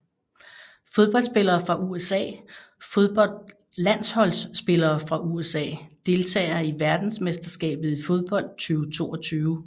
Fodboldspillere fra USA Fodboldlandsholdsspillere fra USA Deltagere ved verdensmesterskabet i fodbold 2022